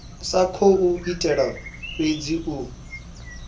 sa khou itela fhedzi u